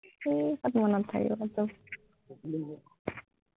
এৰ ক'ত মনত থাকিব তোৰ